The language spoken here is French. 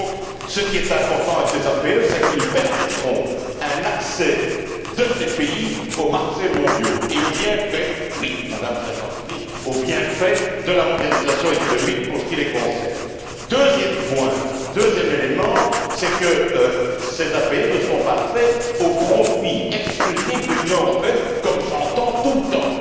Et donc, ce qui est important avec ces APE, c'est qu'ils permettront un accès de ces pays aux marchés mondiaux et aux bienfaits oui, Madame Sargentini de la mondialisation économique, pour ce qui les concerne. Deuxième point, deuxième élément, c'est que ces APE ne sont pas conçus au profit exclusif de l'Union européenne, comme je l'entends tout le temps.